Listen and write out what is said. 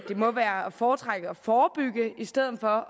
må være at foretrække at forebygge i stedet for